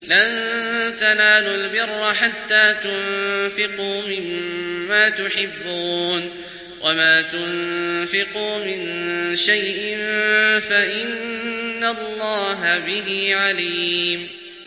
لَن تَنَالُوا الْبِرَّ حَتَّىٰ تُنفِقُوا مِمَّا تُحِبُّونَ ۚ وَمَا تُنفِقُوا مِن شَيْءٍ فَإِنَّ اللَّهَ بِهِ عَلِيمٌ